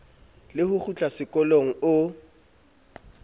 le ho kgutla sekolong o